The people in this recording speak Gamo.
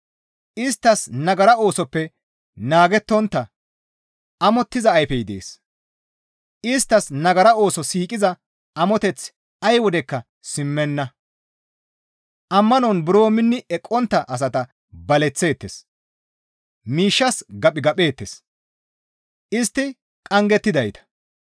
Isttas nagara oosoppe naagettontta amottiza ayfey dees; isttas nagara ooso siiqiza amoteththi ay wodekka simmenna. Ammanon buro minni eqqontta asata baleththeettes; miishshas gaphigapheettes; istti qanggettidayta.